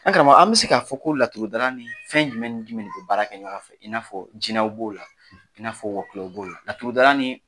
An karamɔgɔ an bɛ se k'a fɔ ko laturudala ni fɛn jumɛn ni jumɛn de bi baara kɛ ɲɔgɔn fɛ, i n’a fɔ jinaw b'o la i n'a fɔ wɔkulɔw b'o la laturudala ni